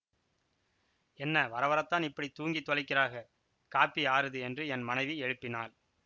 என்ன வரவரத்தான் இப்படி தூங்கித் தொலைக்கிறாக காப்பி ஆறுது என்று என் மனைவி எழுப்பினாள்